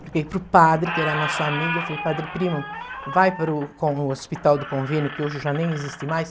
Falei para o padre, que era nosso amigo, falei, padre primo, vai para o com o hospital do convênio, que hoje já nem existe mais.